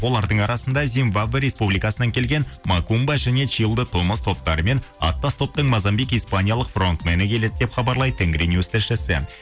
олардың арасында зимбаба республикасынан келген макумба және чилдо томас топтары мен аттас топтың мазамбик испаниялық фронт мени келеді деп хабарлайды тенгринюс тілшісі